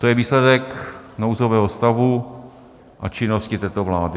To je výsledek nouzového stavu a činnosti této vlády.